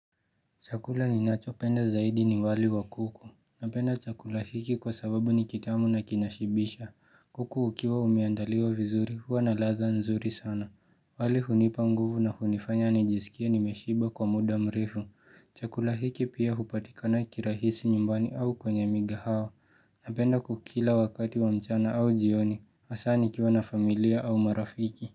Chakula ninachopenda zaidi ni wali wa kuku. Napenda chakula hiki kwa sababu ni kitamu na kinashibisha. Kuku ukiwa umeandaliwa vizuri huwa na ladha nzuri sana. Wali hunipa nguvu na hunifanya nijisikie nimeshiba kwa muda mrefu. Chakula hiki pia hupatikana kirahisi nyumbani au kwenye migahawa. Napenda kukila wakati wa mchana au jioni. Hasaa nikiwa na familia au marafiki.